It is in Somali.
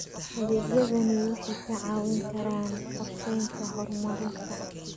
Adeegyadani waxay kaa caawin karaan qorsheynta horumarinta.